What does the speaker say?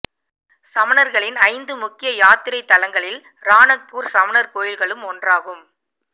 சமணர்களின் ஐந்து முக்கிய யாத்திரைத் தலங்களில் ராணக்ப்பூர் சமணர் கோயில்களும் ஒன்றாகும்